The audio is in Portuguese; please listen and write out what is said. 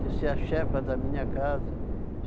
de ser a chefa da minha casa.